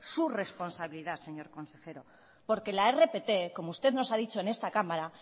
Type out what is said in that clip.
su responsabilidad señor consejero porque la rpt como usted nos ha dicho en esta cámara